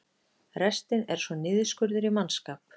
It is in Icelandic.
Restin er svo niðurskurður í mannskap